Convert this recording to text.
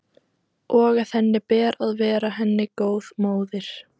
Og að henni ber að vera henni góð móðir.